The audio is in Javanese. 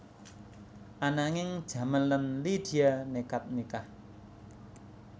Ananging Jamal lan Lydia nékad nikah